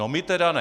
No my teda ne.